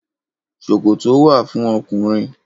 Ṣòkòtò wà fún ọkùnrin.